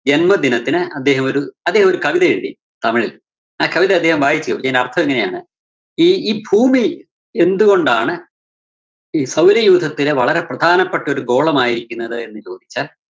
ജന്മദിനത്തിന് അദ്ദേഹം ഒരു അദ്ദേഹം ഒരു കവിതയെഴുതി, തമിഴില്‍. ആ കവിത അദ്ദേഹം വായിച്ചു അതിന്റെ അര്‍ത്ഥം ഇങ്ങനെയാണ്. ഈ ഈ ഭൂമി എന്തുകൊണ്ടാണ് ഈ സൗരയൂഥത്തിലെ വളരെ പ്രധാനപെട്ടൊരു ഗോളമായിരിക്കുന്നത് എന്ന് ചോദിച്ചാൽ